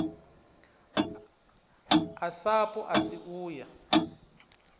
a sapu asi u ya